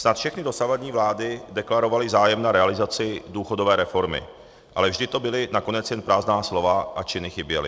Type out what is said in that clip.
Snad všechny dosavadní vlády deklarovaly zájem na realizaci důchodové reformy, ale vždy to byla nakonec jen prázdná slova a činy chyběly.